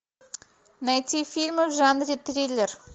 найти фильмы в жанре триллер